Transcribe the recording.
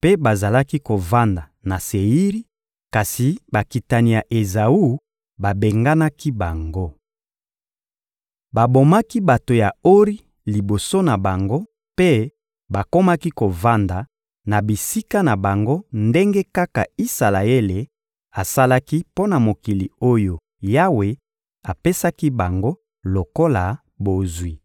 mpe bazalaki kovanda na Seiri kasi bakitani ya Ezawu babenganaki bango. Babomaki bato ya Ori liboso na bango mpe bakomaki kovanda na bisika na bango ndenge kaka Isalaele asalaki mpo na mokili oyo Yawe apesaki bango lokola bozwi.